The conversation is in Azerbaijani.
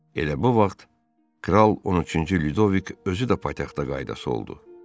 Elə bu vaxt kral 13-cü Lyudovik özü də paytaxta qayıdası oldu.